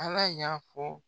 Ala y'a fɔ